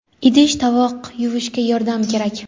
Idish tovoq yuvishga yordam kerak.